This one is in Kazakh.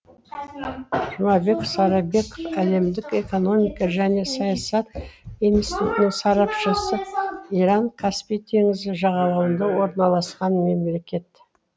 жұмабек сарабеков әлемдік экономика және саясат институтының сарапшысы иран каспий теңізі жағалауында орналасқан мемлекет